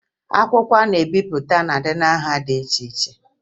Akwụkwọ a na-ebipụta na-adị na nha dị iche iche